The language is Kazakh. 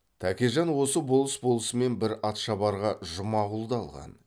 тәкежан осы болыс болысымен бір атшабарға жұмағұлды алған